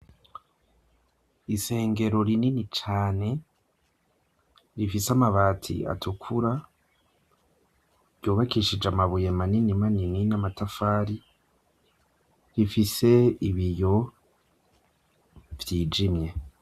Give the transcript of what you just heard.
Isengero rinini cane, rifise amabati atukura, ryubakishije amabuye manini manini n'amatafari, rifise ibiyo vyijimye.